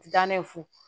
Ga ne fu